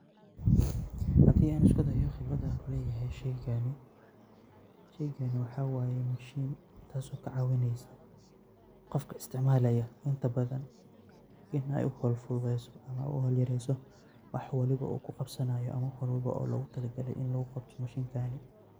Hadi an iskudayo qibrada an kuleyahay sheygani. Sheygani waxa waye mashin taso kacawineysa qofka isiticmalaya inta badan iney uhawl fududeyso ama uhowl yareyso wax waliba uu kuqawanayo ama wax walbo oo logutalagalay in mashintan luguqabto.